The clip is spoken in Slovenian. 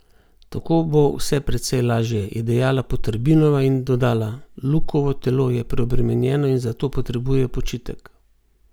Tako bo vse precej lažje," je dejala Poterbinova in dodala: "Lukovo telo je preobremenjeno in zato potrebuje počitek.